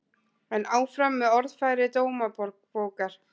En áfram með orðfæri Dómabókar